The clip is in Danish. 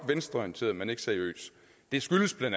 venstreorienteret men ikke seriøs det skyldes bla